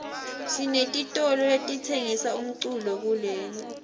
sinetitolo letitsengisa umculo kuleli